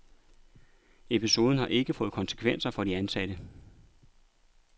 Episoden har ikke fået konsekvenser for de ansatte.